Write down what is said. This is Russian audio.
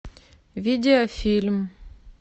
видеофильм